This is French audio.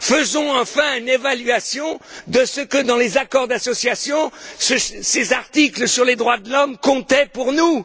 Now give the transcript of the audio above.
Faisons enfin une évaluation de ce que, dans les accords d'association, ces articles sur les droits de l'homme comptaient pour nous.